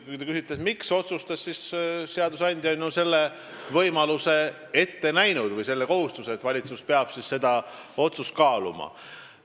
Kui te küsite, miks valitsus nii otsustas, siis ütlen, et seadusandja on ette näinud sellise võimaluse või ka kohustuse, et valitsus peab otsust kaaluma.